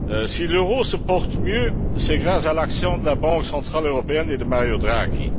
Si l'euro se porte mieux, c'est grâce à l'action de la Banque centrale européenne et de Mario Draghi.